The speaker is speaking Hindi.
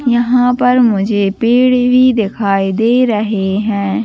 यहाँ पर मुझे पेड़ भी दिखाई दे रहे है।